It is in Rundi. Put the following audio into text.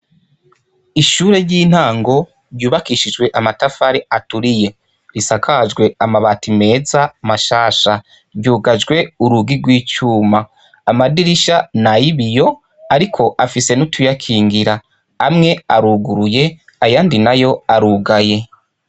Ishure ry'intango ryubakishijwe amatafari aturiye. Risakajwe amabati meza mashasha. Ryugajwe urugi rw'icuma. Amadirisha ni ay'ibiyo, ariko afise n'utuyakingira. Amwe aruguruye, ayandi nayo arugaye.